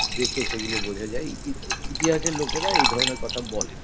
দেখে সেগুলো বোঝা যায় ই ইতিহাসের লোকেরা এই ধরনের কথা বলেন